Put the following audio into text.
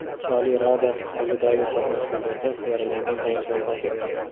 Oliy Rada oldidagi to‘qnashuvlarda yaralangan jangchi vafot etdi.